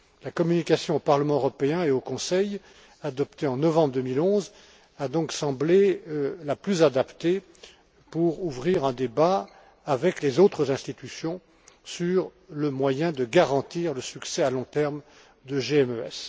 La communication au Parlement européen et au Conseil, adoptée en novembre 2011, a donc semblé la plus adaptée pour ouvrir un débat avec les autres institutions sur le moyen de garantir le succès à long terme de GMES.